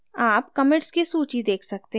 आप commits की सूची देख सकते हैं